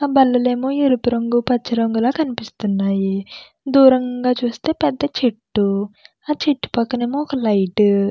ఆ బందీలన్నీ ఎరుపు రంగు పచ్చ రంగు లా అనిపిస్తున్నాయి. దూరంగా చూస్తే పెద్ధ చెట్టు. ఆ చెట్టు పక్కన ఒక లైట్ --